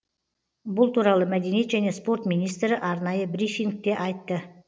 бұл туралы мәдениет және спорт министрі арнайы брифингте айтты